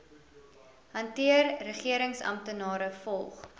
hanteer regeringsamptenare volg